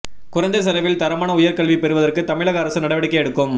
குறைந்த செலவில் தரமான உயர் கல்வி பெறுவதற்கு தமிழக அரசு நடவடிக்கை எடுக்கும்